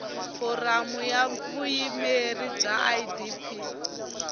foramu ya vuyimeri ya idp